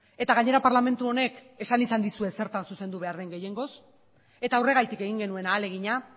eta gainera parlamentu honek esan izan dizue zertan zuzendu behar den gehiengoz eta horregatik egin genuen ahalegina